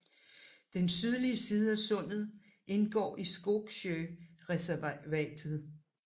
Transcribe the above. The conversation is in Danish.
Den sydlige side af sundet indgår i Skogsö naturreservat